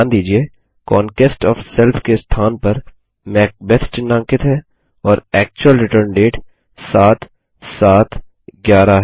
ध्यान दीजिये conquest OF self के स्थान पर मैकबेथ चिह्नांकित है और एक्चुअल रिटर्न डेट 7711 है